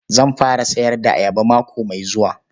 Zan fara sayar da ayaba mako mai zuwa.